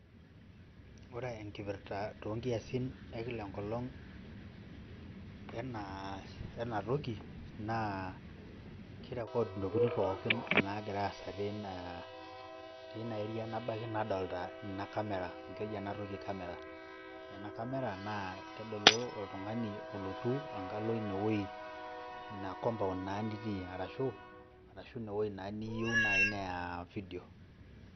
Ore enkipirta to nkiasin ekila enkolong' enaa enatoki naa kirecord ntokitinpookin nagiraa aasa tina tina area nabaiki nadolta ina camera amu keji ena toki camera. Ore ena camera naa kedolu oltung'ani olotu ina wuei ina compound naa nitii arashu arashu ine wuei naa niyeu neya vidio.